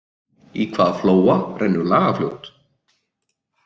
Í hvaða flóa rennur Lagarfljót?